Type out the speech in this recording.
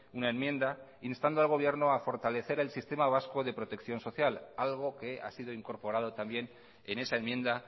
una enmienda instando al gobierno a fortalecer el sistema vasco de protección social algo que ha sido incorporado también en esa enmienda